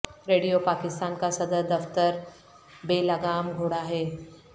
radio Pakistan کا صدر دفتر بے لگام گھوڑا ہے